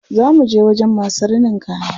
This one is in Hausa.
Za muje wajen masu rinin kaya.